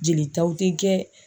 Jelitaw tɛ kɛ.